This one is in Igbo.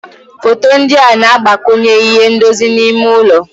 Foto ndị a na-agbakwunye ihe ndozi n'ime ụlọ.